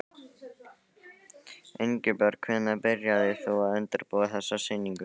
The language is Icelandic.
Ingibjörg, hvenær byrjaðir þú að undirbúa þessa sýningu?